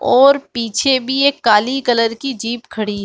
और पीछे भी एक काली कलर की जीप खड़ी --